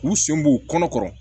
K'u sen b'u kɔnɔ kɔrɔ